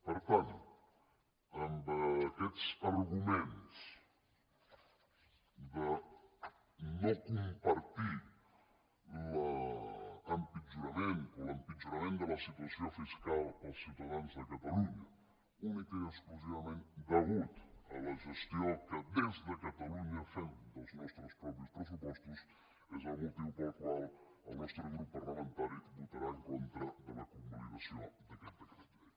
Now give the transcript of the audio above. per tant amb aquests arguments de no compartir l’empitjorament de la situació fiscal per als ciutadans de catalunya únicament i exclusivament degut a la gestió que des de catalunya fem dels nostres propis pressupostos és el motiu pel qual el nostre grup parlamentari votarà en contra de la convalidació d’aquest decret llei